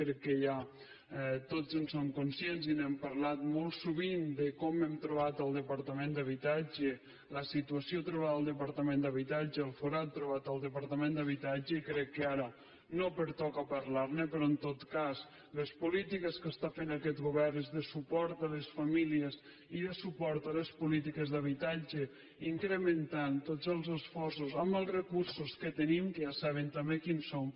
crec que ja tots en som conscients i n’hem parlat molt sovint de com hem trobat el departament d’habitatge la situació trobada al departament d’habitatge el forat trobat al departament d’habitatge i crec que ara no pertoca parlar ne però en tot cas les polítiques que fa aquest govern són de suport a les famílies i de suport a les polítiques d’habitatge incrementant tots els esforços amb els recursos que tenim que ja saben també quins són